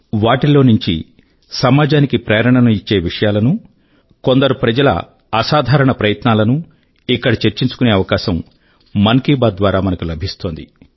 వాటిలో నుంచి సమాజానికి ప్రేరణ ను ఇచ్చే విషయాల ను కొందరు ప్రజల అసాధారణ ప్రయత్నాల నూ ఇక్కడ చర్చించుకునే అవకాశం మన్ కీ బాత్ ద్వారా మనకు లభిస్తోంది